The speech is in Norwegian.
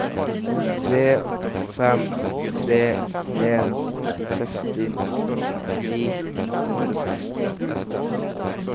tre fem tre en seksti ni hundre og seksten